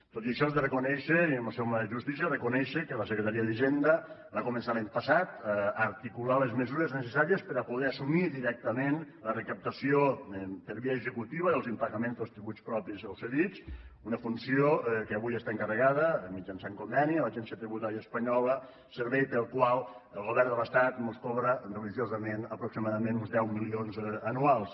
tot i això haig de reconèixer i me sembla de justícia reconèixer que la secretaria d’hisenda va començar l’any passat a articular les mesures necessàries per a poder assumir directament la recaptació per via executiva dels impagaments dels tributs propis o cedits una funció que avui està encarregada mitjançant conveni a l’agència tributària espanyola servei pel qual el govern de l’estat mos cobra religiosament aproximadament uns deu milions anuals